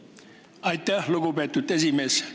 Aitäh, lugupeetud esimees!